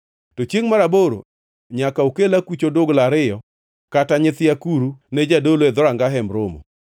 To chiengʼ mar aboro nyaka okel akuch odugla ariyo kata nyithi akuru ne jadolo e dhoranga Hemb Romo.